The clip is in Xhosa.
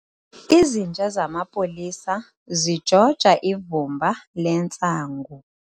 Izinja zamapolisa zijoja ivumba lentsangu.